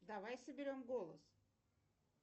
давай соберем голос